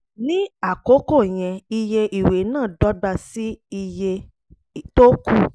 ní àkókò yẹn iye ìwé náà dọ́gba sí iye tó kù